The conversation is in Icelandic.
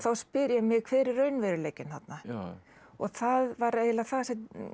spyr ég mig hver er raunveruleikinn þarna það var eiginlega það sem